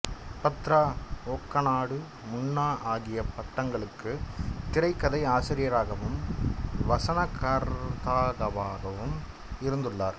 பத்ரா ஒக்கநாடு முன்னா ஆகிய படங்களுக்கு திரைகதை ஆசிரியராகவும் வசனகர்தாவாகவும் இருந்துள்ளார்